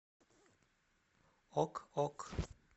ок ок